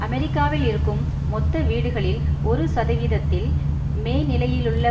அமெரிக்காவில் இருக்கும் மொத்த வீடுகளில் ஒரு சதவீதத்தில் மேநிலையிலுள்ள